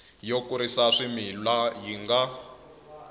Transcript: yo kurisa swimila yi nga